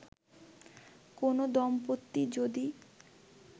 কোন দম্পতি যদি